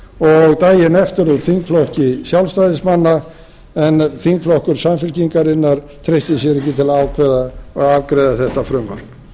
og daginn eftir úr þingflokki sjálfstæðismanna en þingflokkur samfylkingarinnar treysti sér ekki til að afgreiða þetta frumvarp